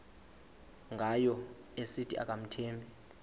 ngayo esithi akamthembi